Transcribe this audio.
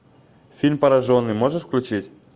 фильм пораженный можешь включить